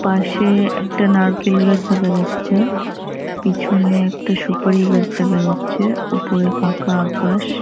পাশে-এ একটা নারকেল গাছ দেখা যাচ্ছে । পেছনে একটা সুপারি গাছ দেখা যাচ্ছে ওপরে ফাঁকা আকাশ ।